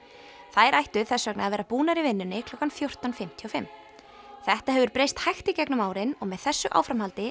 þær ættu þess vegna að vera búnar í vinnunni klukkan fjórtán fimmtíu og fimm þetta hefur breyst hægt í gegnum árin og með þessu áframhaldi